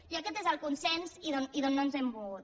i aquest és el consens i d’on no ens hem mogut